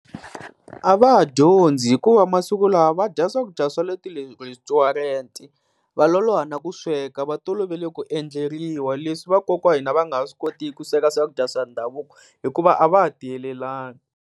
A va ha dyondzi, hikuva masiku lawa va dya swakudya swa le ti restaurant. Va loloha na ku sweka va tolovele ku endleriwa leswi vakokwana va nga ha swi kotiku ku sweka swakudya swa ndhavuko hikuva a va ha tiyelelangi.